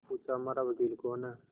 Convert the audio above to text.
पूछाहमारा वकील कौन है